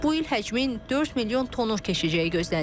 Bu il həcmin 4 milyon tonu keçəcəyi gözlənilir.